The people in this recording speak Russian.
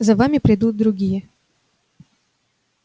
за вами придут другие